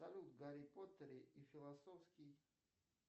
салют гарри поттер и философский